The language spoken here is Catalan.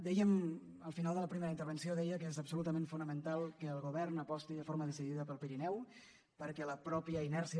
deia al final de la primera intervenció que és absolutament fonamental que el govern aposti de forma decidida pel pirineu perquè la mateixa inèrcia